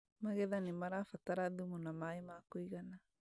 Magetha nĩmarabatara thumu na maĩ ma kũigana